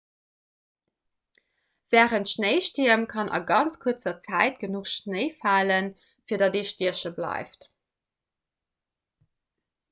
wärend schnéistierm kann a ganz kuerzer zäit genuch schnéi falen fir datt ee stieche bleift